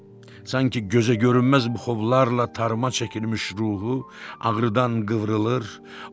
Sanki gözə görünməz buxovlarla darıma çəkilmiş ruhu ağrıdan qıvrılır.